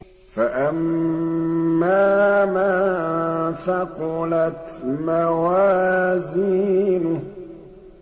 فَأَمَّا مَن ثَقُلَتْ مَوَازِينُهُ